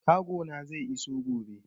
Kago na zai iso gobe.